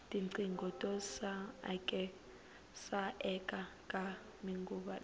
tinqingho to saeka ta manguva lawa